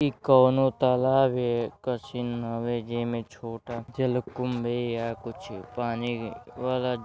इ कोनों तलाब हे के सीन हवे जे मे में छोटा जलकुंभी या कुछ पानी वाला --